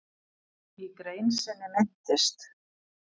Í grein sinni minntist